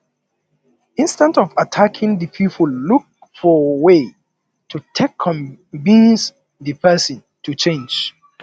instead of attacking di person look for way to take convince di person to change